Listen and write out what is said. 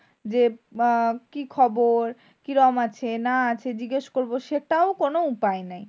যে আহ কি খবর? কিরাম আছে না আছে জিজ্ঞেস করবো সেটাও কোনো উপায় নেই।